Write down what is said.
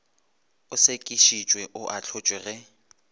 o sekišitšwe o ahlotšwe ge